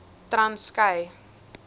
transkei